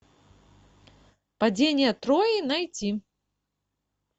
падение трои найти